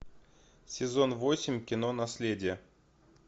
сезон восемь кино наследие